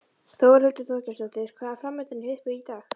Þórhildur Þorkelsdóttir: Hvað er framundan hjá ykkur í dag?